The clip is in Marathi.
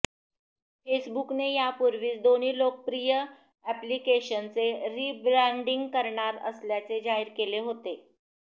फेसबुकने यापूर्वीच दोन्ही लोकप्रिय ऍप्लिकेशन्सचे रिब्रॅण्डींग करणार असल्याचे जाहीर केले होते